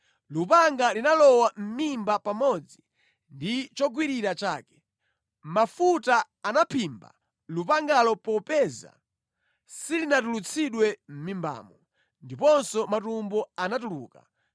Lupanga linalowa mʼmimba pamodzi ndi chogwirira chake. Mafuta anaphimba lupangalo popeza silinatulutsidwe mʼmimbamo. Ndiponso matumbo anatuluka.